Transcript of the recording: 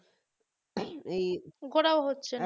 ঘোরাও হচ্ছে না